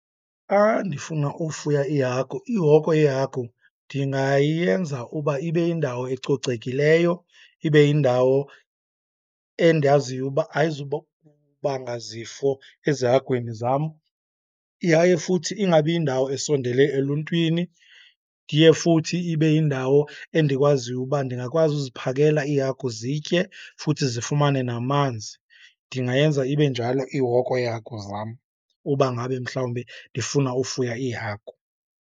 Ndifuna ufuya iihagu, ihoko yeehagu ndingayenza uba ibe yindawo ecocekileyo, ibe yindawo endiyaziyo uba banga zifo ezihagwini zam, yaye futhi ingabi yindawo esondele eluntwini. Ndiye futhi ibe yindawo endikwaziyo uba ndingakwazi uziphakela iihagu zitye futhi zifumane namanzi. Ndingayenza ibe njalo ihoko yeehagu zam uba ngabe mhlawumbi ndifuna ufuya iihagu.